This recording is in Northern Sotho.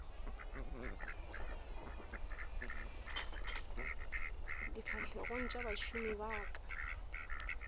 difahlegong tša bašomi ba ka